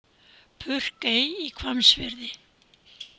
Purkey í Hvammsfirði.